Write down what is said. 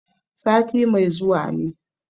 Sati mai zuwa ne.